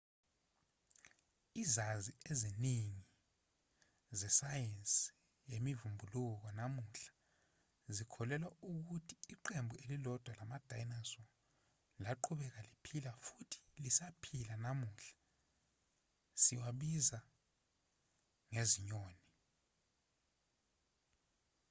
izazi eziningi zesayensi yemivubukulo namuhla zikholelwa ukuthi iqembu elilodwa lama-dinosaur laqhubeka liphila futhi lisaphila namuhla siwabiza ngezinyoni